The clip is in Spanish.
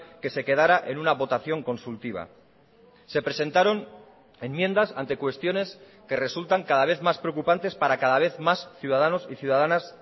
que se quedara en una votación consultiva se presentaron enmiendas ante cuestiones que resultan cada vez más preocupantes para cada vez más ciudadanos y ciudadanas